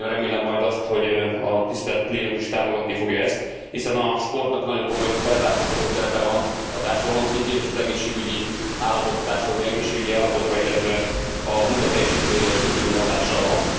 Nagyon remélem majd azt, hogy a tisztelt plénum is támogatni fogja ezt, hiszen a sportnak nagyon komoly felzárkóztató szerepe van a társadalom szintjén, és a társadalom egészségügyi állapotára, illetve a munkateljesítményre is kitűnő hatással van.